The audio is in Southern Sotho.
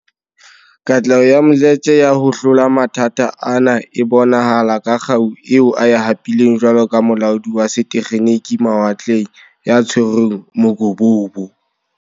Katleho ya Mdletshe ya ho hlola mathata ana e bonahala ka kgau eo a e hapileng jwalo ka molaodi wa setekgeniki mawatleng ya tshwereng mokobobo.